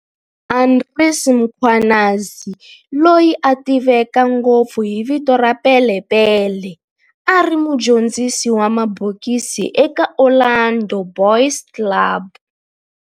Andries Mkhwanazi, loyi a tiveka ngopfu hi vito ra Pele Pele, a ri mudyondzisi wa mabokisi eka Orlando Boys Club.